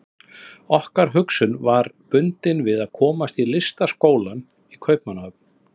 Okkar hugsun var bundin við að komast í Listaskólann í Kaupmannahöfn.